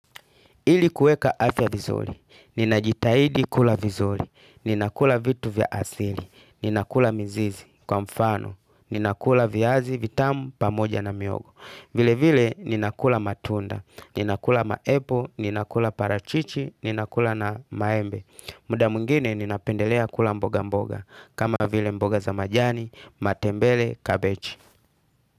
Ili kueka afya vizuri, ninajitahidi kula vizuri, ninakula vitu vya asili, ninakula mizizi kwa mfano, ninakula viazi vitamu pamoja na mihogo. Vile vile ninakula matunda, ninakula ma apple, ninakula parachichi, ninakula na maembe. Muda mwingine ninapendelea kula mboga mboga. Kama vile mboga za majani, matembele, kabeji.